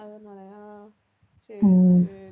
அதனாலயா சரி, சரி